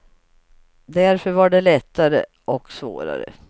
Därför var det lättare, och svårare.